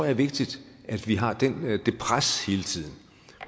er vigtigt at vi har det pres hele tiden